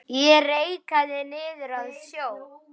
Ég reikaði niður að sjó.